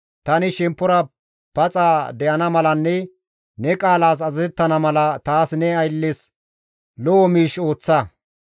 Tani shemppora paxa de7ana malanne ne qaalas azazettana mala, taas ne aylles lo7o miish ooththa.